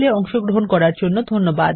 এতে অংশগ্রহন করার জন্য ধন্যবাদ